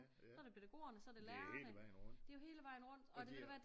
Så det pædagogerne så det lærerne det jo hele vejen rundt